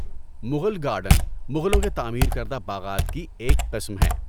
Mughal garden مغلوں کے تعمیر کردہ باغات کی ایک قسم ہیں۔